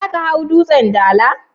Za ka hau Dutsen Dala?